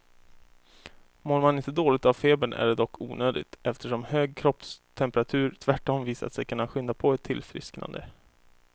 Mår man inte dåligt av febern är det dock onödigt, eftersom hög kroppstemperatur tvärtom visat sig kunna skynda på ett tillfrisknande.